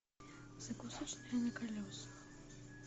закусочная на колесах